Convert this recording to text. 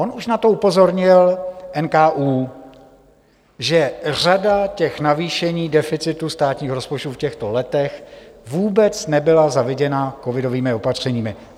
On už na to upozornil NKÚ, že řada těch navýšení deficitu státního rozpočtu v těchto letech vůbec nebyla zaviněna covidovými opatřeními.